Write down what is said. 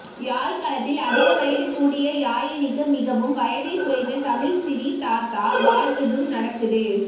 யாழ் களத்தில் அதிக வயது கூடிய யாயினிக்கு மிகவும் வயதில் குறைந்த தமிழ் சிறி தாத்தா வாழ்த்துதும் நடக்குது